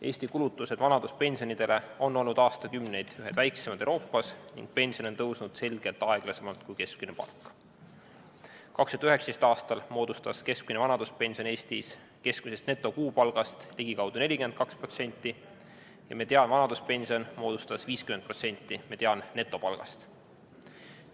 Eesti kulutused vanaduspensionidele on olnud aastakümneid ühed väiksemad Euroopas ning pension on tõusnud selgelt aeglasemalt kui keskmine palk. 2019. aastal moodustas keskmine vanaduspension Eestis keskmisest netokuupalgast ligikaudu 42% ja mediaanvanaduspension moodustas 50% mediaannetopalgast.